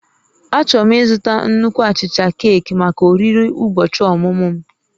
Achọrọ m ịzụta nnukwu achicha keeki maka oriri ụbọchị ọmụmụ m